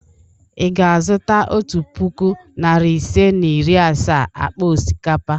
Ị ga-azụta otu puku, narị ise na iri asaa akpa osikapa?